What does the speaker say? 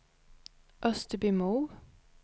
Österbymo